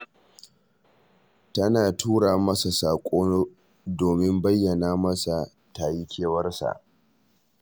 Tana tura masa saƙo domin bayyana masa ta yi kewarsa